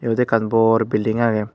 eyot ekan bor building aage.